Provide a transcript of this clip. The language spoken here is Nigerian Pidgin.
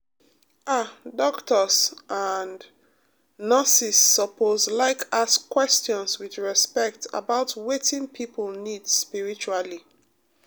ah doctors and um nurses suppose like ask questions with respect about wetin people need spiritually. um